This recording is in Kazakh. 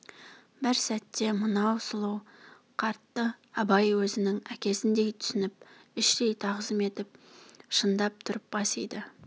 бір сәтте мынау сұлу қартты абай өзінің әкесіндей түсініп іштей тағзым етіп шындап тұрып бас иді